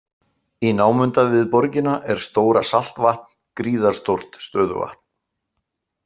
Í námunda við borgina er Stóra-Saltvatn, gríðarstórt stöðuvatn.